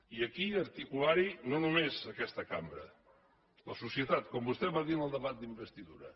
i aquí articular hi no només aquesta cambra la societat com vostè va dir en el debat d’investidura